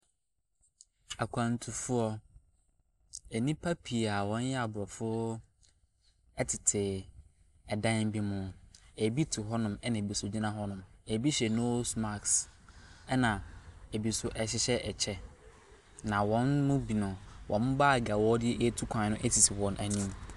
Akwantufoɔ, nnipa pii a wɔyɛ aborɔfo tete dan bi mu. Ebi te hɔnom ɛnna bi nso gyina hɔnom. Ebi hyɛ nose mask, ɛnna ebi nso hyehyɛ kyɛ, na wɔn mu binom, wɔn bag a wɔde retu kwan no sisi wɔn anim.